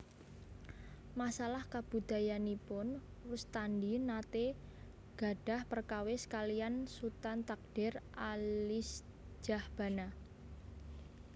Masalah kabudayanipun Rustandi naté gadhah perkawis kaliyan Sutan Takdir Alisjahbana